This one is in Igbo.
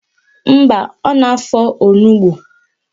Mba, ọ na-afọ onugbo